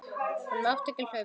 Hún mátti ekki hlaupa.